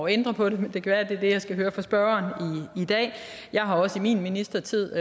ændre på det men det kan være det er det jeg skal høre fra spørgeren i dag jeg har også i min ministertid